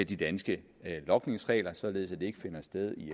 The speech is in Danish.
de danske logningsregler således at den ikke finder sted i